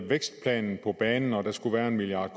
vækstplanen på banen og sagde at der skulle være en milliard